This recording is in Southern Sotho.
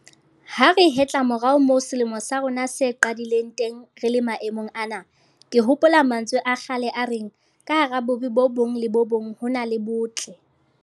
Ha re hetla morao moo selemo sa rona se qadileng teng re le maemong ana, ke hopola mantswe a kgale a reng 'ka hara bobe bo bong le bo bong ho na le botle'.